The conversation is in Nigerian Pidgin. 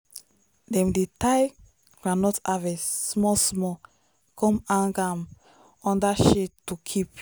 dem dey tie groundnut harvest small small come hang am under shade to keep.